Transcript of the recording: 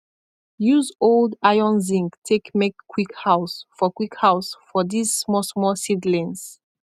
use old iron zinc take make quick house for quick house for these small small seedlings